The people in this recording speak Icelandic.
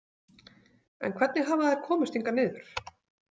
En hvernig hafa þær komist hingað niður?